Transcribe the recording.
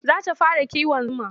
Za ta fara kiwon zuma.